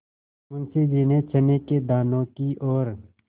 मुंशी जी ने चने के दानों की ओर